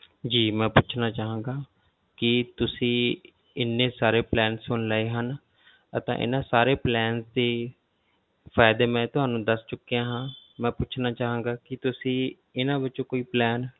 ਜੀ ਮੈਂ ਪੁੱਛਣਾ ਚਾਹਾਂਗਾ ਕਿ ਤੁਸੀਂ ਇੰਨੇ ਸਾਰੇ plan ਸੁਣ ਲਏ ਹਨ ਅਤੇ ਇਹਨਾਂ ਸਾਰੇ plan ਦੀ ਫ਼ਾਇਦੇ ਮੈਂ ਤੁਹਾਨੂੰ ਦੱਸ ਚੁੱਕਿਆ ਹਾਂ ਮੈਂ ਪੁੱਛਣਾ ਚਾਹਾਂਗਾ ਕਿ ਤੁਸੀਂ ਇਹਨਾਂ ਵਿੱਚੋਂ ਕੋਈ plan